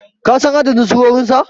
kasan adadin surorinsa?